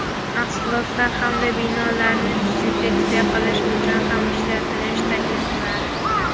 mahsulotlar hamda binolarni dezinfeksiya qilish uchun ham ishlatishni taklif qiladi.